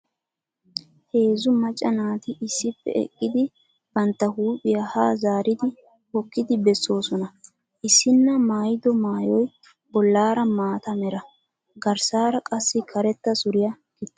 Heezzu macca naati issippe eqqidi bantta huuphiya haa zaaridi hokkidi bessoosona. Issinna maayiddo maayoy bollaara maata mera, garssaara qassi karetta suriya gixxaasu.